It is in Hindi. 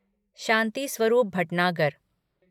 शांति स्वरूप भटनागर